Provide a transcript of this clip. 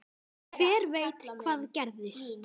Hver veit hvað gerist?